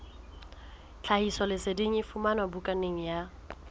tlhahisoleseding e fumanwe bukaneng ya